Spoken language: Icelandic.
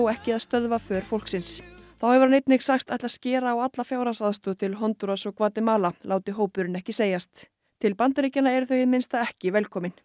ekki að stöðva för fólksins þá hefur hann einnig sagst ætla að skera á alla fjárhagsaðstoð til Hondúras og Gvatemala láti hópurinn ekki segjast til Bandaríkjanna eru þau hið minnsta ekki velkomin